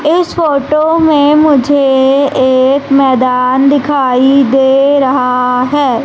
इस फोटो में मुझे एक मैदान दिखाई दे रहा है।